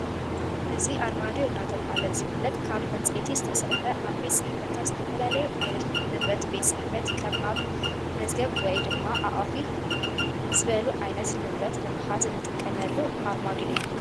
እዚ ኣርማድዮ እናተባህለ ዝፍለጥ ካብ ዕንፀይቲ ዝተሰርሐ ኣብ ቤት ፅሕፈታት ዝተፈላለዩ ዓይነት ንብረት ቤት ፅሕፈት ከም ኣብ መዝገብወይ ድማ ኣቃፊ ዝበሉ ዓይነት ንብረት ንምሓዝ እንጥቀመሉ ኣርማድዮ እዩ፡፡